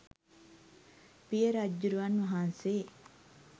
පිය රජ්ජුරුවන් වහන්සේ